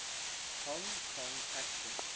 hong kong action